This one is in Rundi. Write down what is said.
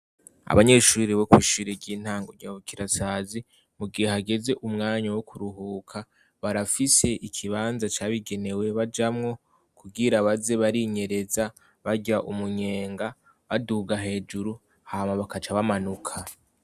Abanyeshuri bo kwishiri ry'intango nyabukirasazi mu gihe hageze umwanya wo kuruhuka barafise ikibanza cabigenewe bajamwo kugira baze barinyereza barya umunyenga baduga hejuru hama bakacabamanuka.